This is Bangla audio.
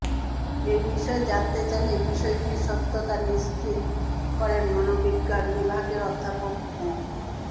এ বিষয়ে জানতে চাইলে বিষয়টির সত্যতা নিশ্চিত করেন মনোবিজ্ঞান বিভাগের অধ্যাপক মো